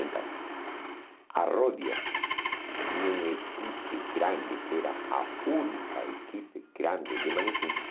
Então, a Rodia tinha uma equipe grande, que era a única equipe grande de manequins.